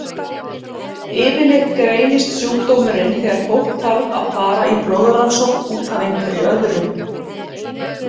Yfirleitt greinist sjúkdómurinn þegar fólk þarf að fara í blóðrannsókn út af einhverju öðru.